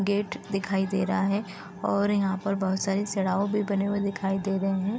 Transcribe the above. Gate दिखाई दे रहा है और यहाँ पर बहुत सारे चढ़ाव भी बने हुए दिखाई दे रहे हैं।